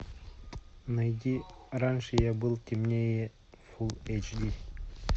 найди раньше я был темнее фул эйч ди